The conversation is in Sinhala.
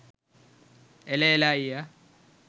එල එල අයියා